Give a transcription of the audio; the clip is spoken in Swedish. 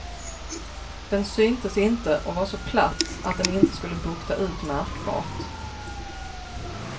Den syntes inte och var så platt att den inte skulle bukta ut märkbart.